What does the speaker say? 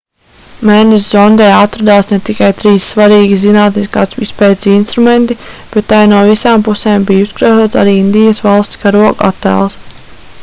mēness zondē atradās ne tikai trīs svarīgi zinātniskās izpētes instrumenti bet tai no visām pusēm bija uzkrāsots arī indijas valsts karoga attēls